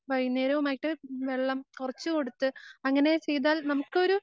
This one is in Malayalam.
വൈകുന്നേരവുമായിട്ട് വെള്ളം കൊറച്ച് കൊടുത്ത് അങ്ങനെ ചെയ്താൽ നമുക്കൊരു